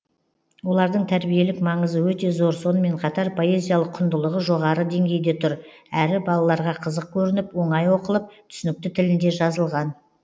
олардың тәрбиелік маңызы өте зор сонымен қатар поэзиялық құндылығы жоғары деңгейде тұр әрі балаларға қызық көрініп оңай оқылып түсінікті тілінде жазылған